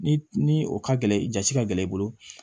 Ni ni o ka gɛlɛn jasi ka gɛlɛn i bolo